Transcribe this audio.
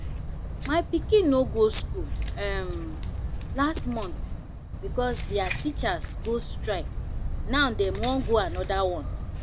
my pikin no go school um last month because dia teachers go strike now dem wan go another one